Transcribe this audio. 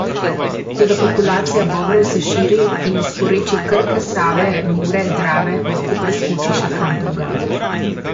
Toda populacija bobrov se širi in iz porečij Krke, Save, Mure, Drave lahko preskoči še kam drugam.